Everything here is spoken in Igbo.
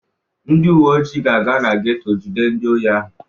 Ndị uwe ojii ga-aga na geto ijide ndị ohi ahụ.